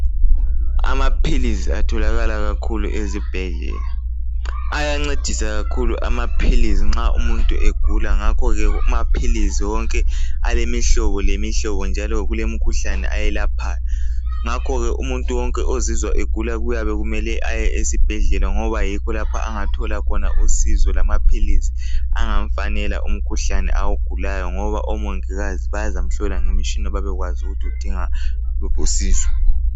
Amaphilizi atholakala kakhulu ezibhedlela. Ayancedisa kakhulu amaphilizi nxa umuntu egula. Ngakho ke amaphilizi wonke, alemihlobo lemihlobo. Njalo kulemikhuhlane ayelaphayo. Ngakho ke umuntu wonke ozizwa egula, kuyabe kumela aye esibhedlela, ngoba yikho lapha angathola khona usizo. Lamaphilisi angamfanela umkhuhlane awugulayo. Ngoba omongikazi, bazamhlola ngemitshina, babekwazi ukuthi udinga luphi usizo.